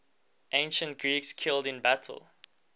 ancient greeks killed in battle